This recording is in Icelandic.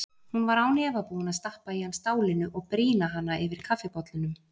Hún var án efa búin að stappa í hana stálinu og brýna hana yfir kaffibollunum.